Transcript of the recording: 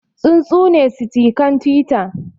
Tsuntsune sitikan Twitter